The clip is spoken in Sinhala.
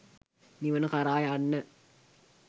නිවන කරා යන්න